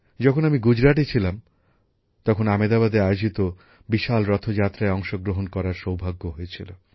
যখন আমি গুজরাটে ছিলাম তখন আমেদাবাদে আয়োজিত বিশাল রথযাত্রায় অংশগ্রহণ করার সৌভাগ্য হয়েছিল